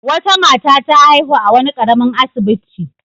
Wata mata ta haihu a wani ƙaramin asibiti.